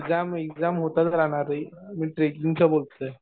अरे exam, exam होतच राहणार रे. मी ट्रेकींगचं बोलतोय.